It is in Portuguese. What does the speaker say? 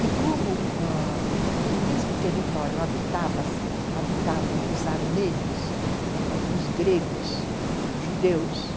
E como ãh no mesmo território habitavam os armênios, ãh, os gregos, judeus,